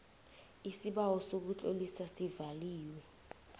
isibawo sokutlolisa iclose